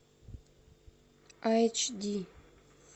айч ди